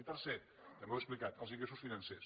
i tercer també ho he explicat els ingressos financers